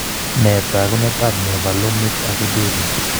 Nee taakunetaab mevalonic aciduria?